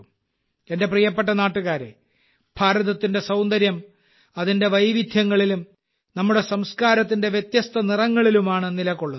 എന്റെ പ്രിയപ്പെട്ട നാട്ടുകാരേ ഭാരതത്തിന്റെ സൌന്ദര്യം അതിന്റെ വൈവിധ്യങ്ങളിലും നമ്മുടെ സംസ്കാരത്തിന്റെ വ്യത്യസ്ത നിറങ്ങളിലുമാണ് നിലകൊള്ളുന്നത്